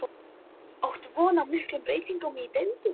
Áttu von á miklum breytingum í deildinni?